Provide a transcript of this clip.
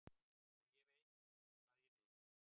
Og ég veit hvað ég vil.